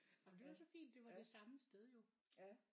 Jamen det var så fint det var det samme sted jo